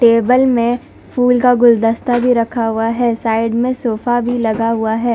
Table में फूल का गुलदस्ता भीं रखा हुआ हैं साइड में सोफा भीं लगा हुआ है।